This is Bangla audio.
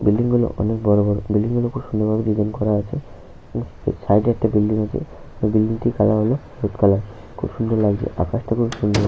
বিল্ডিং গুলো অনেক বড় বড়। বিল্ডিং গুলো খুব সুন্দর ভাবে ডিসাইন করা আছে । সাইড একটা বিল্ডিং আছে। ওই বিল্ডিংটির কালার হল হলুদ কালার । খুব সুন্দর লাগছে আকাশটা খুব সুন্দর ।